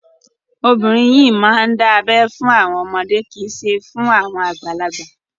Obìnrin yìí máa ń dà ẹ fún àwọn ọmọdé kì í ṣe fún àwọn àgbàlagbà.